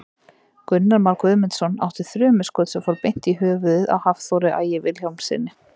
Gunnar Már Guðmundsson átti þrumuskot sem fór beint í höfuðið á Hafþóri Ægi Vilhjálmssyni.